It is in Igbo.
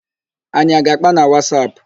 Anyị a ga-àkpá na Wasap?